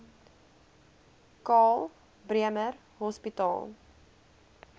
karl bremer hospitaal